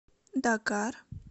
дакар